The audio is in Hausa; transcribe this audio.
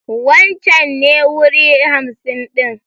Wancen ne wuri hamsin ɗin.